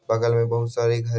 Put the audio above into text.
बगल मे बहुत सारी घर--